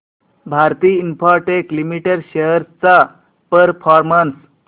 Bharti Infratel limited shares चा performance